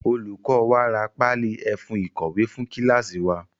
Olùkọ wa ra páálí ẹfun ìkọ̀wé fún kíláásì wa.